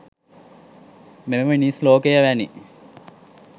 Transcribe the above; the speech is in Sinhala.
මෙම මිනිස් ලෝකය වැනි